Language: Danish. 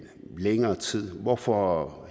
længere tid hvorfor